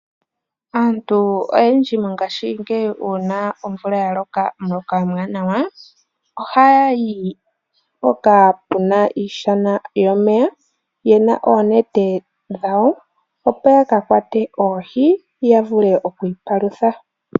Aantu oyendji mongashingeyi uuna omvula ya loka omuloka omuwanawa ohaya yi mpoka puna iishana yomeya ye na oonete dhawo opo ya ka kwate oohi ya vule okwiipalutha.